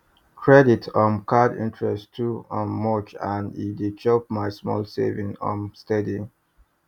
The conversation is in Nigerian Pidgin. credit um card interest too um much and e dey chop my small savings um steady